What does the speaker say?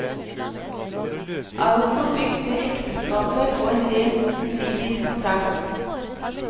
Altså bygde ekteskapet på en rent juridisk kontrakt.